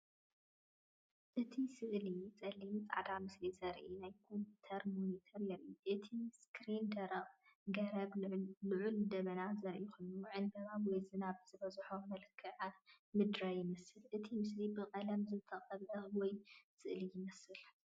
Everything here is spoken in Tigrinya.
እቲ ስእሊ ጸሊምን ጻዕዳን ምስሊ ዘርኢ ናይ ኮምፒተር ሞኒተር የርኢ። እቲ ስክሪን ደረቕ ገረብን ልዑል ደበናን ዘርኢ ኮይኑ፡ ዕንበባ ወይ ዝናብ ዝበዝሖ መልክዓ ምድሪ ይመስል። እቲ ምስሊ ብቐለም ዝተቐብአ ወይ ስእሊ ይመስል።